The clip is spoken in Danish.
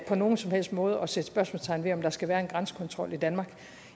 på nogen som helst måde at sætte spørgsmålstegn ved om der skal være en grænsekontrol i danmark